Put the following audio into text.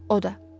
O da.